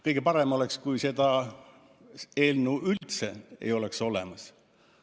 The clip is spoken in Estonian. Kõige parem oleks, kui seda eelnõu üldse ei oleks olemas.